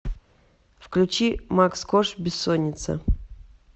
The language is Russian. включи макс корж бессонница